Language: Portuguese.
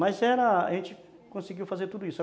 Mas era... a gente conseguiu fazer tudo isso.